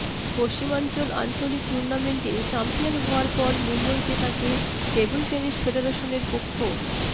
পশ্চিমা়ঞ্চল আঞ্চলিক টুনার্মেন্টে চ্যাম্পিয়ন হওয়ার পর মুম্বইতে তাঁকে টেবল টেনিস ফেডারেশনের পক্ষ